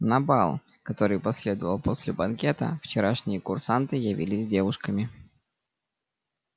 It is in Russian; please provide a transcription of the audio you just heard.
на бал который последовал после банкета вчерашние курсанты явились с девушками